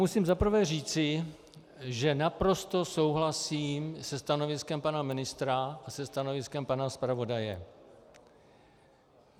Musím zaprvé říci, že naprosto souhlasím se stanoviskem pana ministra a se stanoviskem pana zpravodaje.